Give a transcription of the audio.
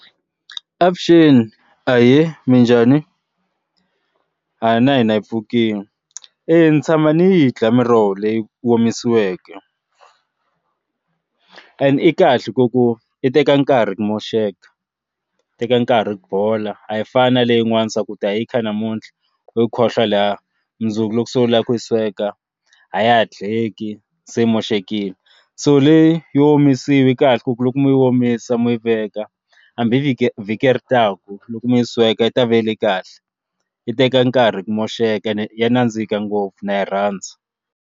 Avuxeni ahee minjhani, na hina hi pfukini eya ni tshama ni yi dya miroho leyi omisiweke and i kahle ku ku i teka nkarhi ku moxeka teka nkarhi ku bola a yi fani na leyi n'wana swaku ya yikha namuntlha u khohlwa laha mundzuku loko se u lava ku yi sweka a ya ha dyeki se yi moxekile so leyi yo omisiwi kahle ka ku loko mi yi omisa mo yi veka hambi vhiki vhiki ri taka loko mi yi sweka yi ta vele kahle yi teka nkarhi ku moxeka ya nandzika ngopfu na yi rhandza.